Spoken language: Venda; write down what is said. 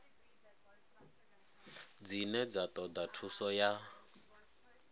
dzine dza toda thuso ya